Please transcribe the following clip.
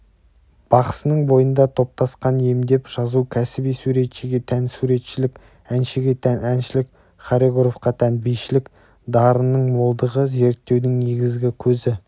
бақсының бойында топтасқан емдеп-жазу кәсіби суретшіге тән суретшілік әншіге тән әншілік хореографқа тән бишілік дарынның молдығы зерттеудің негізгі көзі